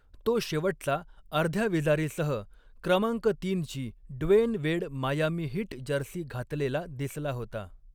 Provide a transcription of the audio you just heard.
तो शेवटचा, अर्ध्या विजारीसह क्रमांक तीनची Dwyane Wade Miami Heat jersey घातलेला दिसला होता.